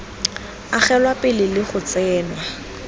agelwa pele le go tsenngwa